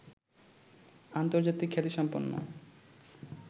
আন্তর্জাতিক খ্যাতিসম্পন্ন